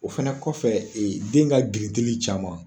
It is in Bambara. O fana kɔfɛ den ka grindili caman.